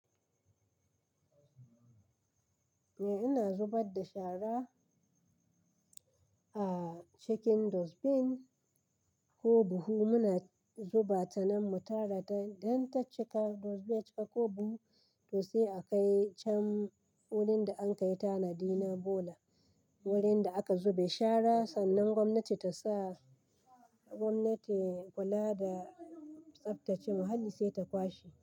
Eh, ina zubar da shara a cikin dustbin ko buhu. Muna zuba ta nan mu tara ta don ta cika, dustbin ya cika ko buhu, to sai a kai can wurin da an kai tanadi na bola, wurin da aka zube shara sannan gwamnati ta sa gwamnati kula da tsaftace muhalli sai ta kwashe.